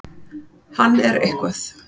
Hann er eitthvað.